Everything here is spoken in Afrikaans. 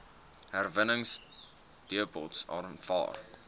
herwinningsdepots aanvaar